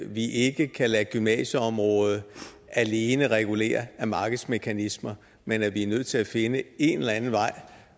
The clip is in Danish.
vi ikke kan lade gymnasieområdet alene regulere af markedsmekanismer men at vi er nødt til at finde en eller anden vej